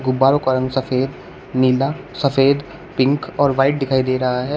गुब्बारों का रंग सफेद नीला सफेद पिंक और व्हाइट दिखाई दे रहा है।